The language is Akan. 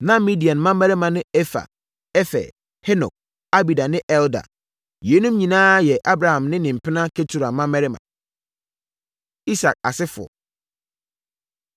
Na Midian mmammarima ne Efa, Efer, Henok, Abida ne Eldaa. Yeinom nyinaa yɛ Abraham ne ne mpena Ketura mmammarima. Isak Asefoɔ